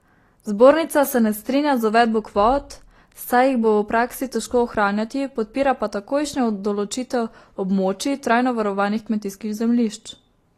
Zbornica se ne strinja z uvedbo kvot, saj jih bo v praksi težko ohranjati, podpira pa takojšnjo določitev območij trajno varovanih kmetijskih zemljišč.